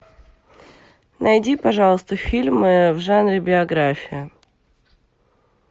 найди пожалуйста фильм в жанре биография